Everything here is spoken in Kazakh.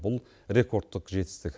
бұл рекордтық жетістік